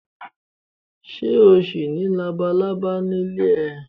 Ṣé o ṣì ní labalábá nílé?